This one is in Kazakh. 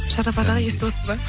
шарап аға естіп отырсыз ба